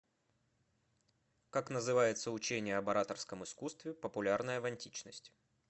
как называется учение об ораторском искусстве популярное в античности